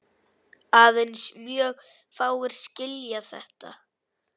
Aðeins mjög fáir skilja þetta.